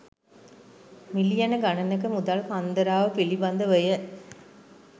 මිලියන ගණනක මුදල් කන්දරාව පිළිබඳවය.